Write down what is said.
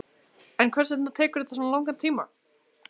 En hvers vegna tekur þetta svona langan tíma?